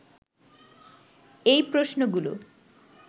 এই প্রশ্নগুলো